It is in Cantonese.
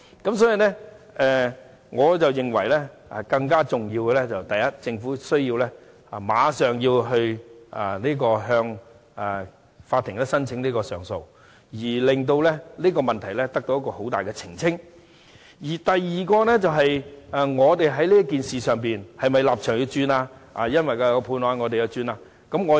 因此，我認為更重要的是第一，政府要立即向法庭申請上訴，令這個問題在很大程度上獲得澄清；第二，我們在這件事上的立場是否要因應有關判決而改變？